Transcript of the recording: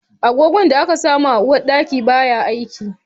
Agogon da aka saka min a uwarɗaki baya aiki